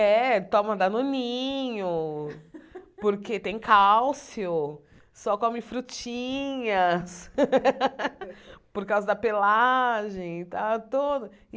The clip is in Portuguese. É, toma danoninho, porque tem cálcio, só come frutinhas, por causa da pelagem e tal toda